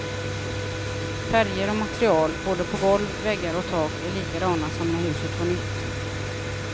Färger och material, både på golv, väggar och tak, är likadana som när huset var nytt.